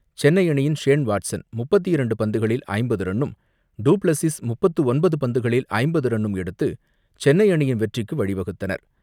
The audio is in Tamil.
சென்னை அணியின் ஷேன் வாட்சன் முப்பத்து இரண்டு பந்துகளில் ஐம்பது ரன்னும், பிளஸ்ஸிஸ் முப்பத்து ஒன்பது பந்துகளில் ஐம்பது ரன்னும் எடுத்து சென்னை அணியின் வெற்றிக்கு வழி வகுத்தனர்.